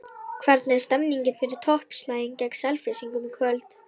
Hvernig er stemningin fyrir toppslaginn gegn Selfyssingum í kvöld?